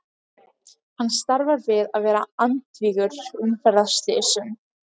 Hann starfar við að vera andvígur umferðarslysum.